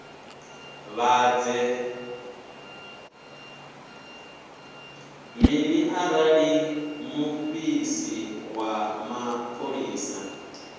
mini arali muofisi wa mapholisa